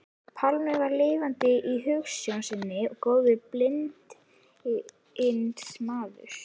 Pálmi var lifandi í hugsjón sinni og góður bindindismaður.